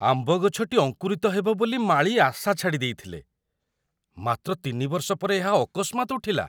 ଆମ୍ବ ଗଛଟି ଅଙ୍କୁରିତ ହେବ ବୋଲି ମାଳୀ ଆଶା ଛାଡ଼ି ଦେଇଥିଲେ, ମାତ୍ର ତିନି ବର୍ଷ ପରେ ଏହା ଅକସ୍ମାତ୍ ଉଠିଲା!